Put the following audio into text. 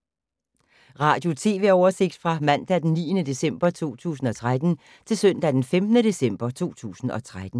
Radio/TV oversigt fra mandag d. 9. december 2013 til søndag d. 15. december 2013